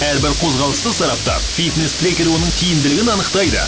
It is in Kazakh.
әрбір қозғалысты сараптап фитнес трекер оның тиімділігін анықтайды